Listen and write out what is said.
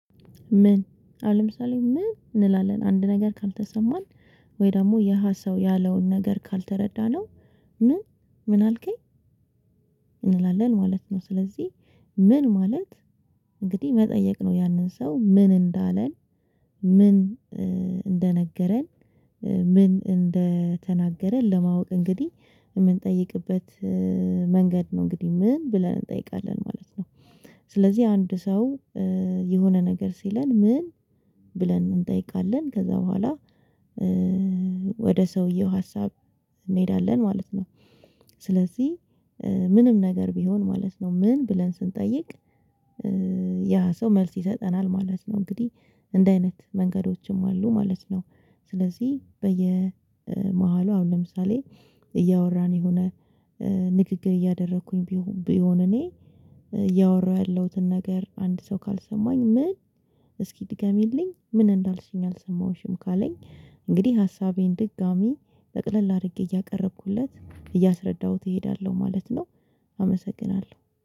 ምን አሁን ለምሳሌ ምን እንላለን አንድ ነገር ካልተሰማን ወይ ደግሞ ያ ሰው ያለውን ነገር ካልተረዳነው ምን? ምን አልከኝ? እንላለን ማለት ነው። ስለዚህ ምን ማለት እንግዲህ መጠየቅ ነው ያንን ሰው ምን እንዳለን ምን እንደነገረን ምን እንደተናገረን ለማወቅ እንግዲህ የምንጠይቅበት መንገድ ነው፤ እንግዲህ ምን ብለን እንጠይቃለን ማለት ነው? ስለዚህ አንድ ሰው የሆነ ነገር ሲለን ምን ብለን እንጠይቃለን ከዛ በኋላ ወደ ሰውየው ሀሳብ እንሄዳለን ማለት ነው። ስለዚህ ምንም ነገር ቢሆን ማለት ነው ምን ብለን ስንጠይቅ ያ ሰው መልስ ይሰጠናል ማለት ነው እንግዲህ እንደ አይነት መንገዶችም አሉ ማለት ነው ስለዚህ በየመሃሉ አሁን ለምሳሌ እያወራን የሆነ ንግግር እያደረኩኝ ቢሆን ቢሆን እኔ ያወራሁ ያለሁትን ነገር አንድ ሰው ካልሰማኝ ምን እስኪ ድገሚልኝ ምን እንዳልሽኝ አልሰማሁሽም ካለኝ እንግዲህ ሀሳቤን ድጋሚ ጠቅለል አድርጌ እያቀረብኩለት እያስረዳሁት እሄዳለሁ ማለት ነው። አመሰግናለሁ።